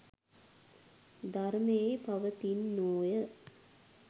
ධර්මයෙහි පවතින්නෝය.